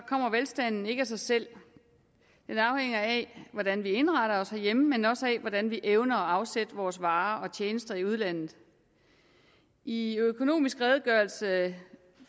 kommer velstanden ikke af sig selv den afhænger af hvordan vi indretter os herhjemme men også af hvordan vi evner at afsætte vores varer og tjenester i udlandet i økonomisk redegørelse